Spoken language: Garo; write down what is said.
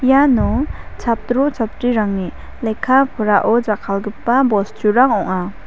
iano chatro-chatrirangni lekka-porao jakkalgipa bosturang ong·a.